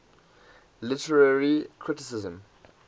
literary criticism